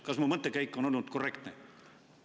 Kas mu mõttekäik on korrektne?